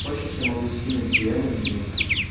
хочешь я могу скинуть бма немного